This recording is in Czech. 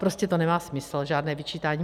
Prostě to nemá smysl, žádné vyčítání.